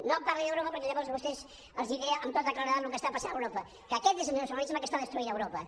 no em parli d’europa perquè llavors a vostès els diré amb tota claredat el que està passant a europa que aquest és el nacionalisme que està destruint europa